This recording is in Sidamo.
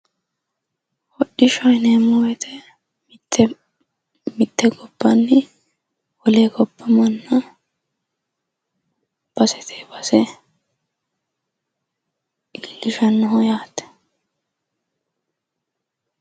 Hodhishshaho yineemmo woyte mitte gobbanni wole gobba manna basete base iillishshannoho yaate